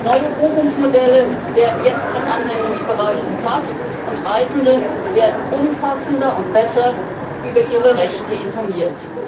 Neue Buchungsmodelle werden jetzt vom Anwendungsbereich umfasst und Reisende werden umfassender und besser über ihre Rechte informiert.